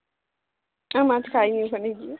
আমরা মাছ খাই নি ওখানে গিয়ে